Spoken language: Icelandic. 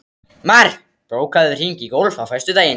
Mar, bókaðu hring í golf á föstudaginn.